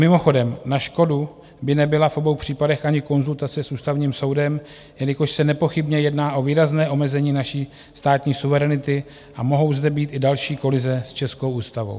Mimochodem na škodu by nebyla v obou případech ani konzultace s Ústavním soudem, jelikož se nepochybně jedná o výrazné omezení naší státní suverenity a mohou zde být i další kolize s českou ústavou.